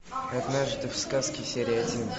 однажды в сказке серия один